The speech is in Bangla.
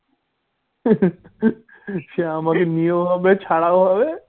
সে আমাদের নিয়ে হবে ছাড়াও হবে।